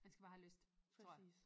Man skal bare have lyst tror jeg